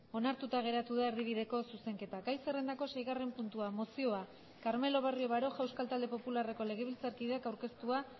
onartuta geratu da erdibideko zuzenketa gai zerrendako seigarren puntua mozioa carmelo barrio baroja euskal talde popularreko legebiltzarkideak aurkeztua